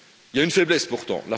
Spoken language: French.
Il y a une faiblesse, pourtant.